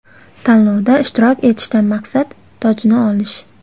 Tanlovda ishtirok etishdan maqsad: tojni olish.